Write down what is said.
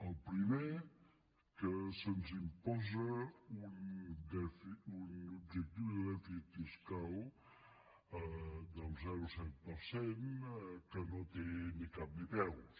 el primer que se’ns imposa un objectiu de dèficit fiscal del zero coma set per cent que no té ni cap ni peus